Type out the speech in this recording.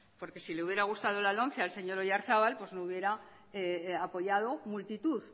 porque sí le hubiera gusta la lomce al señor oyarzabal me hubiera apoyado multitud